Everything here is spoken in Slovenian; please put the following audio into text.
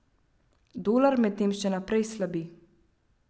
Dolar medtem še naprej slabi.